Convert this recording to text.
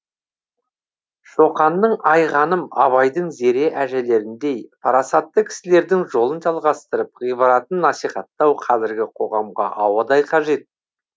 шоқанның айғаным абайдың зере әжелеріндей парасатты кісілердің жолын жалғастырып ғибратын насихаттау қазіргі қоғамға ауадай қажет